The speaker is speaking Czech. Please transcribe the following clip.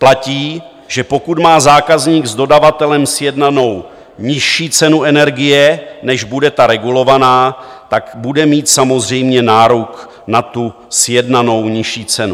Platí, že pokud má zákazník s dodavatelem sjednanou nižší cenu energie, než bude ta regulovaná, tak bude mít samozřejmě nárok na tu sjednanou nižší cenu.